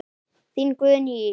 Þín Guðný Ýr.